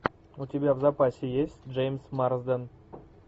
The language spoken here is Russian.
у тебя в запасе есть джеймс марсден